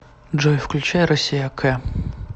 джой включай россия к